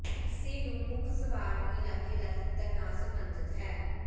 ਇਸੇ ਨੂੰ ਮੁੱਖ ਸਵਾਰ ਨੂੰ ਇਲਾਕੇ ਦਾ ਤਿੱਤਰ ਨਾਲ ਸਬੰਧਤ ਹੈ